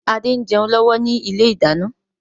Adé ń jẹun lọ́wọ́ ni ilé ìdáná.